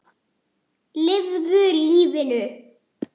Lifðu lífinu.